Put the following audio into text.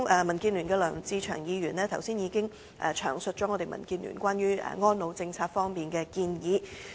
民建聯的梁志祥議員剛才已詳述民建聯關於安老政策的建議。